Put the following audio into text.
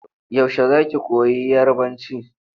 Yaushe za ki koyi Yarabanci?